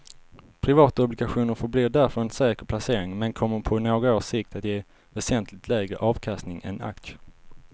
Privatobligationer förblir därför en säker placering men kommer på några års sikt att ge väsentligt lägre avkastning än aktier.